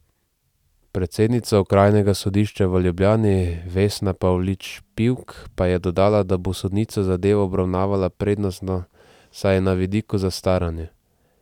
Predsednica okrajnega sodišča v Ljubljani Vesna Pavlič Pivk pa je dodala, da bo sodnica zadevo obravnavala prednostno, saj je na vidiku zastaranje.